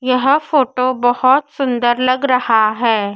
यह फोटो बहोत सुंदर लग रहा है।